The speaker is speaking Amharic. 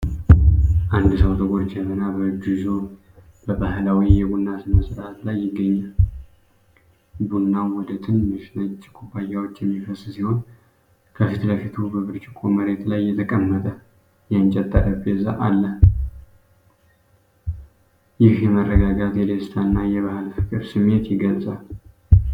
አንድ ሰው ጥቁር ጀበና በእጁ ይዞ በባህላዊ የቡና ሥነ-ሥርዓት ላይ ይገኛል። ቡናው ወደ ትንንሽ ነጭ ኩባያዎች የሚፈስ ሲሆን፣ ከፊት ለፊቱ በብርጭቆ መሬት ላይ የተቀመጠ የእንጨት ጠረጴዛ አለ። ይህ የመረጋጋት፣ የደስታ እና የባሕል ፍቅር ስሜት ይገልጻል።